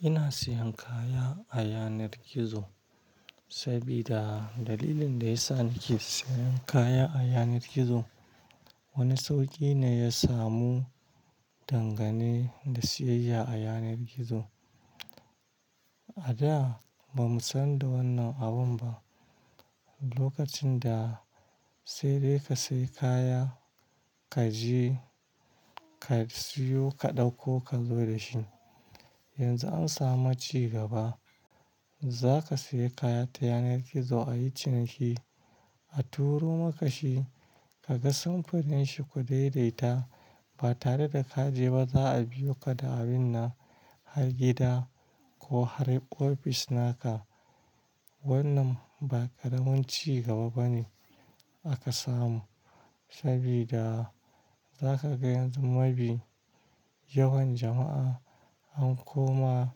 Ina sayan kaya a yanar gizo sabida dalilin da yasa nake sayan kaya a yanar gizo wani sauƙi ne ya samu dangane da siyayya a yanar gizo. A da ba mu san da wannan abun ba. Lokacin da sai dai ka sayi kaya, ka je ka siyo ka ɗauko ka zo da shi. Yanzu an samu ci gaba. Zaka sayi kaya ta yanar gizo a yi ciniki, a turo maka shi, ka ga samfurin shi ku daidaita. Ba tare da ka je ba za a biyo ka da abin na har gida ko har ofis naka. Wannan ba ƙaramin ci gaba ba ne aka samu sabida zaka ga yanzu mabi yawan jama'a an koma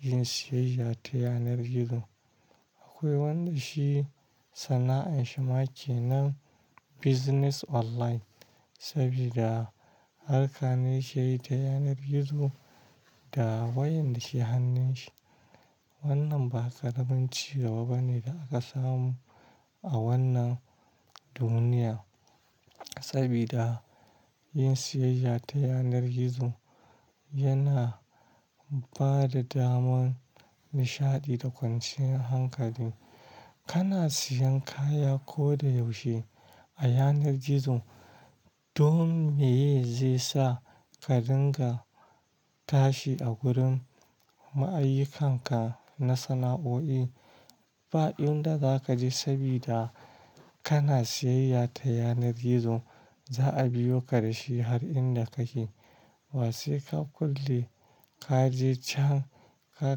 yin siyayya ta yanar gizo. Akwai wanda shi sana'ar shi ma kenan biznis online sabida harka ne yake yi ta yanar gizo da wayan da ke hannun shi. Wannan ba ƙaramin ci gaba ba ne da aka samu a wannan duniya sabida yin siyayya ta yanar gizo yana ba da daman nishaɗi da kwanciyar hankali. Kana sayan kaya koda yaushe a yanar gizo. Dan meye zai sa ka dinga tashi a gurin ma'ayyikanka na sana'o'i. Ba'inda zaka je sabida kana siyayya ta yanar gizo za a biyo ka da shi har inda kake. Ba sai ka kulle, ka je can ka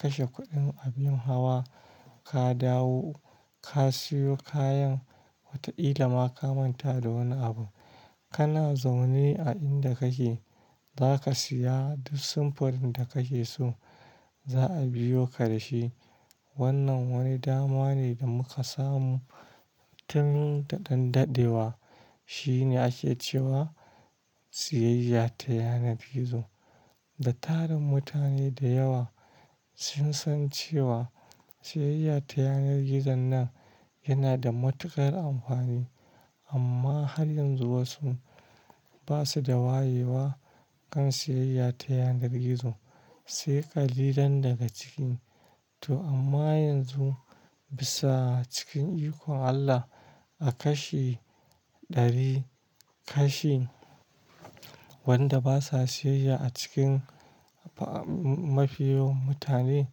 kashe kuɗin abin hawa, ka dawo ka siyo kayan wata ƙila ma ka manta da wani abu. Kana zaune a inda kake. Zaka siya duk samfurin da kake so. Za a biyo ka da shi. Wannan wani dama ne da muka samu tun da ɗan daɗewa. Shine ake cewa siyayya ta yanar gizo. Da tarin mutane da yawa sun san cewa siyayya ta yanar gizon nan yana da matuƙar amfani amma har yanzu wasu basu da wayewa kan siyayya ta yanar gizo sai ƙalilan daga cik. To amma yanzu bisa cikin ikon Allah a kashi ɗari kashi wanda basa siyayya a cikin mafi yawan mutane.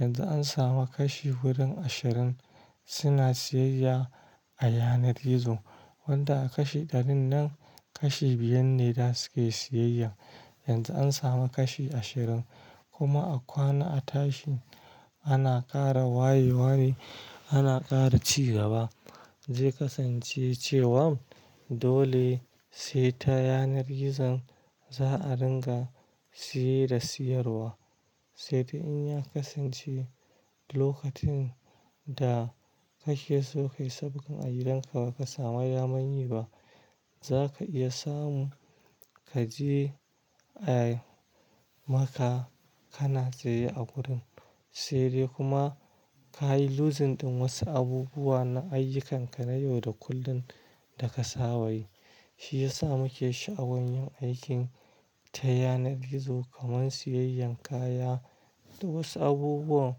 Yanzu an samu kashi wurin ashirin suna siyayya a yanar gizo. Wanda aka shi ɗarin nan kashi biyar ne za su iya siyayya. Yanzu an samu kashi ashirin. Kuma a kwana a tashi ana ƙara wayewa ne ana ƙara cigaba. Ze kasance cewan dole sai ta yanar gizon za a dinga siye da siyarwa. Sai dai in ya kasance lokacin da kake so ka yi sabgan a gidan ka baka samu daman yi ba. Zaka iya samu ka je ai maka kana tsaye a gurin. Sai dai kuma ka yi losing ɗin wasu abubuwa na ayyukanka na yau da kullum da ka saba yi. Shi yasa nake sha'awan yin aikin ta yanar gizo kamar siyayyan kaya da wasu abubuwa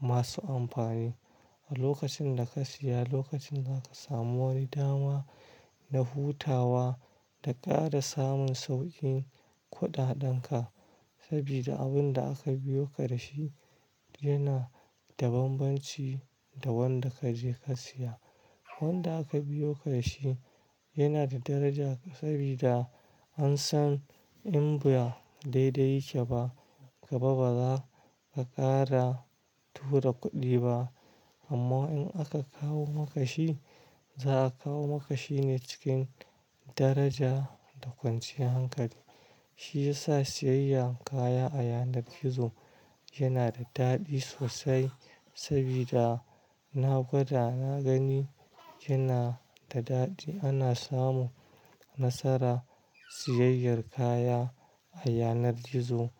masu amfani. A lokacin da ka siya lokacin zaka samu wani dama na hutawa da ƙara samun sauƙin kuɗaɗan ka sabida abun da aka biyo ka da shi yana da banbanci da wanda ka je ka siya. Wanda aka biyo ka da shi yana da daraja sabida an san in ba daidai yake ba gaba ba zaka ƙara tura kuɗi ba amma in aka kawo maka shi za a kawo maka shi ne cikin daraja da kwanciyar hankali. Shi yasa siyayyan kaya a yanar gizo yana da daɗi sosai sabida na gwada na gani yana da daɗi. Ana samu nasara siyayyar kaya a yanar gizo a.